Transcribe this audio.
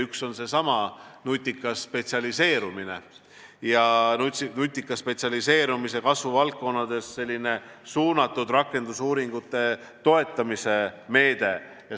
Üks on seesama nutikas spetsialiseerumine ja nutika spetsialiseerumise kasvuvaldkondades suunatud rakendusuuringute toetamise meede.